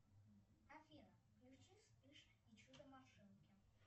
афина включи вспыш и чудо машинки